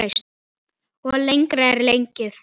Og lengra er gengið.